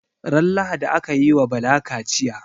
Ran lahadi akayi wa Bala kachiya